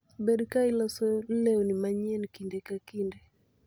Bed ka iloso lewni manyien kinde ka kinde.